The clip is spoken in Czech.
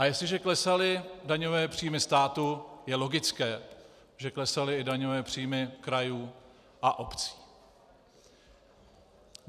A jestliže klesaly daňové příjmy státu, je logické, že klesaly i daňové příjmy krajů a obcí.